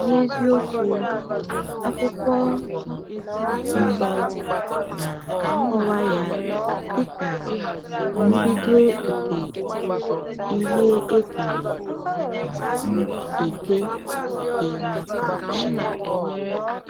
N’eziokwu, Akwụkwọ um Nsọ na-akọwa ya dịka “mbido nke ihe e kere um eke site n’aka Chineke.”